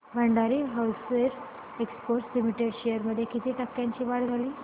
Bhandari hosiery exports limited shares मध्ये किती टक्क्यांची वाढ झाली